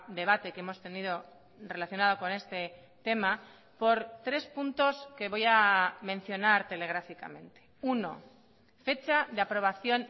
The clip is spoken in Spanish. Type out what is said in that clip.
debate que hemos tenido relacionado con este tema por tres puntos que voy a mencionar telegráficamente uno fecha de aprobación